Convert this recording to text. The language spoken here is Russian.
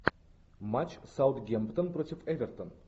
матч саутгемптон против эвертон